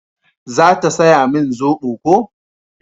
za ta saya min zobo ko?